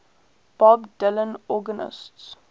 bob dylan organist